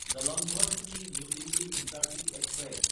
Jalandhar city new Delhi intercity express